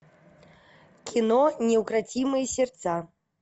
кино неукротимые сердца